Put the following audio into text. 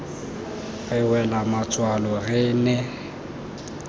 re wela matswalo re ne